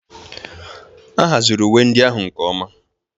A haziri uwe ndị ahụ nke ọma